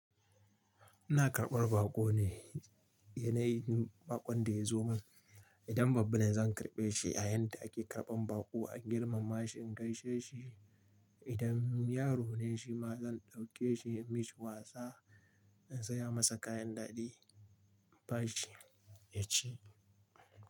Ina karɓar baƙo ne, yanayin baƙon da ya zo min. Idan babba ne zan karɓe shi a yayinda ake karɓan baƙo, an girmama shi in gaishe shi. Idan yaro ne shi ma zan ɗauke shi in mishi wasa, in saya masa kayan daɗi, in bashi, ya ci.